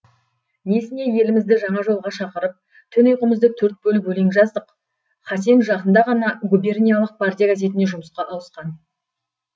несіне елімізді жаңа жолға шақырып түн ұйқымызды төрт бөліп өлең жаздық хасен жақында ғана губерниялық партия газетіне жұмысқа ауысқан